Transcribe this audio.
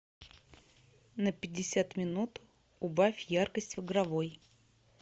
на пятьдесят минут убавь яркость в игровой